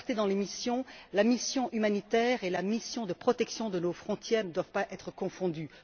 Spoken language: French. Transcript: De la clarté dans les missions la mission humanitaire et la mission de protection de nos frontières ne doivent pas être confondues.